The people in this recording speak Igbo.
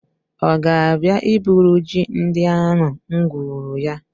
Ọ ga-abịa iburu ji ndị ahụ m gwuru ya?